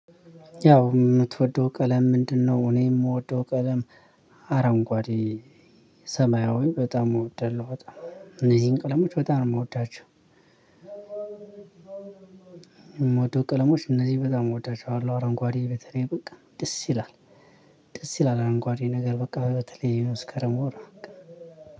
ያው ምትወደው ቀለም ምንድነው? እኔ የምወደው ቀለም አረንጓዴ ሰማያዊ በጣም ምወደው በጣም እነዚህን ቀለሞች በጣም ነው ምወዳቸው። ቀለሞች እነዚህ በጣም እወዳቸዋለሁ አረንጓዴ በተለይ በቃ ደስ ይላል። ደስ ይላል አረንጓዴ ነገር በቃ በተለይ መስከረም ወር በቃ።